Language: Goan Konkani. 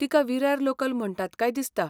तिका विरार लोकल म्हणटात काय दिसता.